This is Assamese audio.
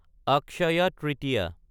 অক্ষয় তৃতীয়া